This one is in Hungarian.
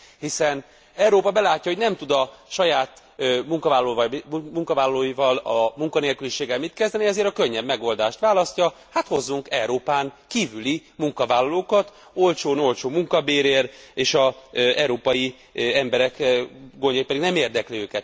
Hiszen Európa belátja, hogy nem tud a saját munkavállalóival, a munkanélküliséggel mit kezdeni, ezért a könnyebb megoldást választja hát hozzunk Európán kívüli munkavállalókat, olcsón, olcsó munkabérért, és az európai emberek gondjai pedig nem érdekli.